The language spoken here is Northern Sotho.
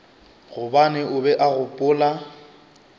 gobane o be a gopola